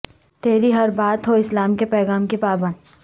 تری ہر بات ہو اسلام کے پیغام کی پابند